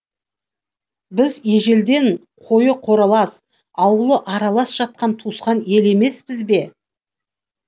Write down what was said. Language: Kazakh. біз ежелден қойы қоралас ауылы аралас жатқан туысқан ел емеспіз бе